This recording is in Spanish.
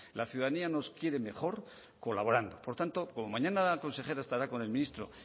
la ciudadanía nos quiere mejor colaborando por tanto como mañana la consejera estará con el ministro